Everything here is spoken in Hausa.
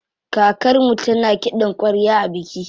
Kakarmu tana kiɗan ƙwarya a biki.